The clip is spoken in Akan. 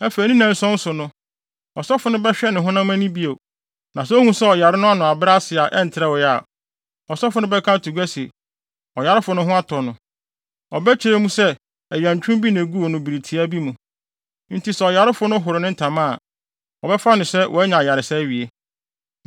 Afei ne nnanson so no, ɔsɔfo no bɛhwɛ ne honam ani bio, na sɛ ohu sɛ ɔyare no ano abrɛ ase a ɛntrɛwee a, ɔsɔfo no bɛka ato gua sɛ, ɔyarefo no ho atɔ no; ɔbɛkyerɛ mu sɛ ɛyɛ ntwom bi na eguu no bere tiaa bi mu. Enti sɛ ɔyarefo no horo ne ntama a, wɔbɛfa no sɛ wanya ayaresa awie.